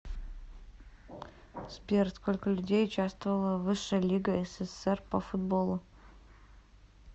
сбер сколько людей участвовало в высшая лига ссср по футболу